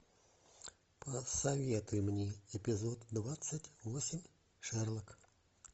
посоветуй мне эпизод двадцать восемь шерлок